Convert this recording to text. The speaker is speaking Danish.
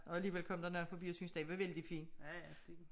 Og alligevel kom der nogen forbi og synes den var vældig fin